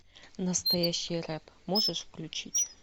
настоящий рэп можешь включить